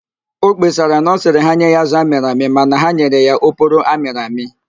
Ọ kpesara na ọ sịrị ha nye ya azụ amịrị amị mana ha nyere ya oporo amịrị amị